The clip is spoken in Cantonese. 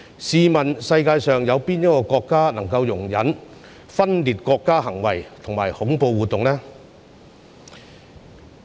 試問世界上有哪個國家可以容忍分裂國家行為及恐怖活動呢？